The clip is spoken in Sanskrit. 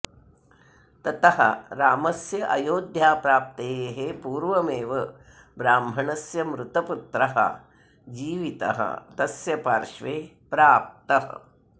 ततः रामस्य अयोध्याप्राप्तेः पूर्वमेव ब्राह्मणस्य मृतपुत्रः जीवितः तस्य पार्श्वे प्राप्तः